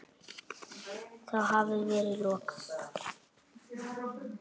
Þá hafi verið lokað.